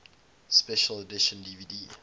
special edition dvd